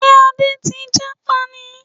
Ṣé Adé ti jápa ni?